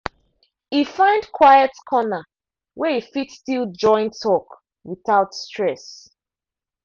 e find quiet corner wey e fit still join talk without stress.